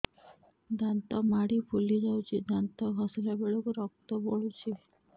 ଦାନ୍ତ ମାଢ଼ୀ ଫୁଲି ଯାଉଛି ଦାନ୍ତ ଘଷିଲା ବେଳକୁ ରକ୍ତ ଗଳୁଛି